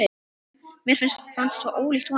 Mér fannst það svo ólíkt honum.